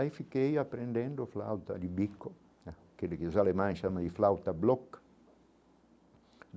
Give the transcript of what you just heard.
Aí fiquei aprendendo flauta de bico, que dos alemães chamam de flauta bloc.